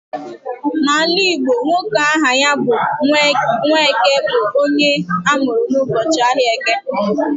N'ala Igbo, nwoke aha ya bụ 'Nwaeke' bụ onye amụrụ n'ụbọchị ahịa Eke